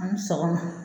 An ni sɔgɔma